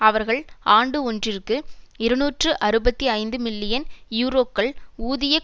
அவர்கள் ஆண்டு ஒன்றிற்கு இருநூற்றி அறுபத்தி ஐந்து மில்லியன் யூரோக்கள் ஊதிய